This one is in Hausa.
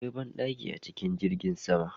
Akwai ban ɗaki a cikin jirgin sama